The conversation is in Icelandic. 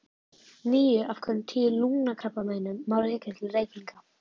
Níu af hverjum tíu lungnakrabbameinum má rekja til reykinga.